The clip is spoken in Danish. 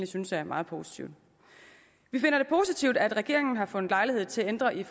synes er meget positivt vi finder det positivt at regeringen har fundet lejlighed til at ændre i